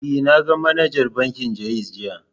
E, na ga manajar bankin Ja'iz jiya.